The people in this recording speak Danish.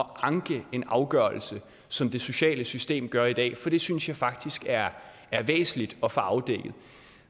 anke en afgørelse som det sociale system gør i dag for det synes jeg faktisk er væsentligt at få afdækket